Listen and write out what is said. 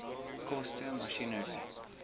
koste masjinerie